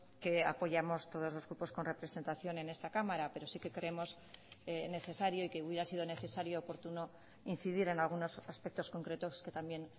que apoyamos todos los grupos con representación en esta cámara pero sí que creemos necesario y que hubiera sido necesario oportuno incidir en algunos aspectos concretos que también